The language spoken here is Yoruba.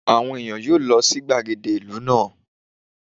Àwọn ẹ̀yàn yóò lọ sí gbàgede ìlú náà.